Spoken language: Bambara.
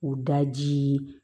O daji